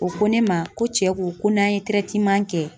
O ko ne ma ko cɛ ko ko n'an ye kɛ